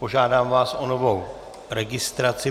Požádám vás o novou registraci.